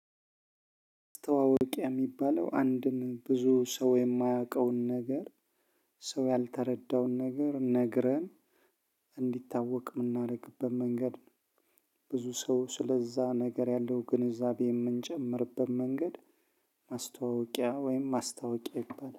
ማስተዋወቂያ የሚባለው አንድን ብዙ ሰው የማያውቀውን ነገር ሰው ያልተረዳውን ነገር ነግረን እንዲታወቅ የምናደርግበት መንገድ ነው። ብዙ ሰው ስለዛ ነገር ያለው ግንዛቤ የምንጨምርበት መንገድ። ማስታወቂያ ወይም ማስታወቂያ ይባላል